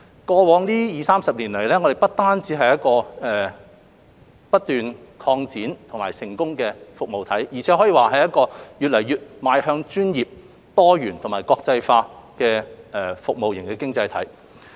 過去二三十年，我們不單是一個不斷擴展並成功的服務體，而且可以說是一個越來越邁向專業、多元及國際化的服務型經濟體。